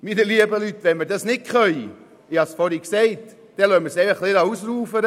Wenn wir das nicht tun können – ich habe es vorhin gesagt –, dann lassen wir es ausufern.